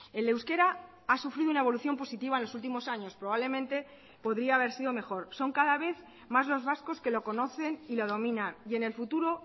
el euskera ha sufrido una evolución positiva en los últimos años probablemente podría haber sido mejor son cada vez más los vascos que lo conocen y lo domina y en el futuro